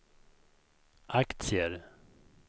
aktier